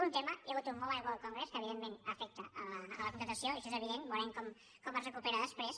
un tema hi ha hagut un mobile world congress que evidentment afecta la contractació i això és evident veurem com es recupera després